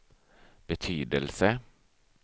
betydelse